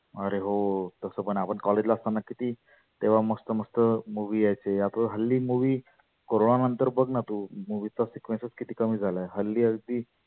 आरे हो तस पण आपण college ला असताना किती तेव्हा मस्त मस्त movies यायचे आता तर हल्ली movie corona नंतर बघना तु movie चा sequice किती कमी झाला आहे. हल्ली अगदी